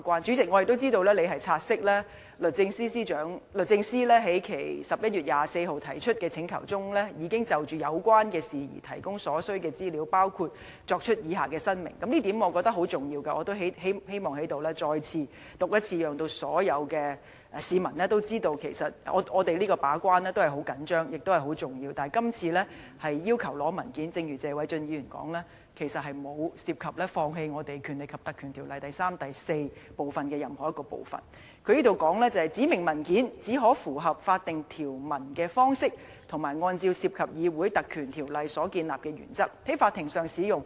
我們也知道，主席亦察悉律政司已在11月24日提出的請求中，就有關事宜提供所需的資料，包括作出以下申明——我認為這一點十分重要，亦希望在這裏讀出，讓所有市民知道我們對於把關十分重視，亦明白是十分重要的，而且正如謝偉俊議員所說，這次律政司要求索取文件，並不代表我們放棄《條例》第3條及第4條的任何一個部分——"指明文件只可以符合法定條文的方式及按照涉及議會特權的案例所建立的原則，在法庭上使用。